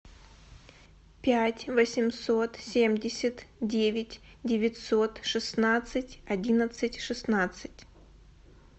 пять восемьсот семьдесят девять девятьсот шестнадцать одиннадцать шестнадцать